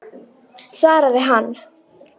svaraði hann.